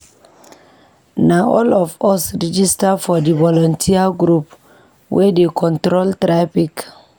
Na all of us register for di voluteer group wey dey control traffic.